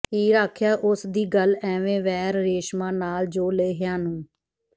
ਹੀਰ ਆਖਿਆ ਓਸ ਦੀ ਗੱਲ ਐਵੇਂ ਵੈਰ ਰੇਸ਼ਮਾਂ ਨਾਲ ਜੋ ਲੇਹਿਆਂ ਨੂੰ